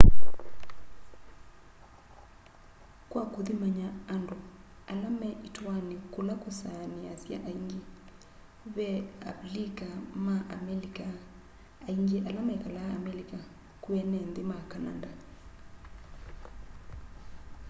kwa kũthimanya andũ ala me ĩtuanĩ kula kũsaanĩasya aingi ve a avilika ma amelika aingi ala mekalaa amelika kwĩ ene nthĩ ma kananda